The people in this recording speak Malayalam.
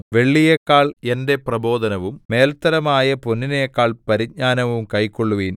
വെള്ളിയെക്കാൾ എന്റെ പ്രബോധനവും മേൽത്തരമായ പൊന്നിനെക്കാൾ പരിജ്ഞാനവും കൈക്കൊള്ളുവിൻ